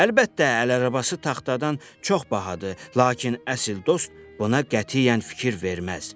Əlbəttə, əl arabası taxtadan çox bahadır, lakin əsl dost buna qətiyyən fikir verməz.